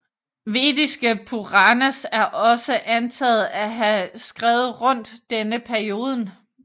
Vediske Puranas er også antatt å ha skrevet rundt denne perioden